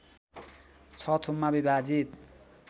६ थुममा विभाजित